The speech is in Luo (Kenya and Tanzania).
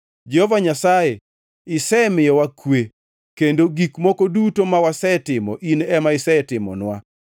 Jehova Nyasaye, isemiyowa kwe; kendo gik moko duto ma wasetimo in ema isetimonwa.